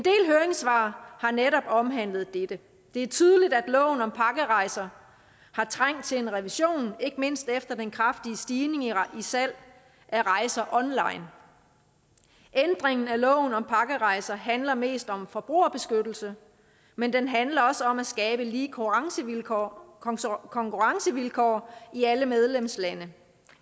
høringssvar har netop omhandlet dette det er tydeligt at loven om pakkerejser har trængt til en revision ikke mindst efter den kraftige stigning i salg af rejser online ændringen af loven om pakkerejser handler mest om forbrugerbeskyttelse men den handler også om at skabe lige konkurrencevilkår konkurrencevilkår i alle medlemslande